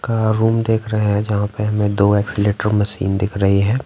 का रूम देख रहे हैं जहाँ पे हमें दो एक्सीलेटर मशीन दिख रही हैं।